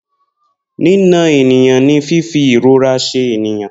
Nina ènìyàn ní fífi ìrora ṣe ènìyàn